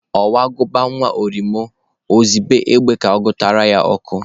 Ọnwụ gụba nwa uriom, ozibe egbe ga-gụtara ya ọkụ.